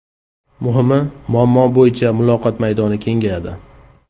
Muhimi, muammo bo‘yicha muloqot maydoni kengayadi.